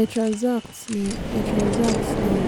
etranzact ní etranzact ní